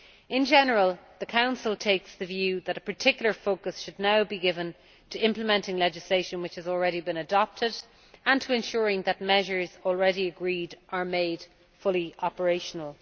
In general, the Council takes the view that a particular focus should now be given to implementing legislation which has already been adopted and to ensuring that measures already agreed are made fully operational.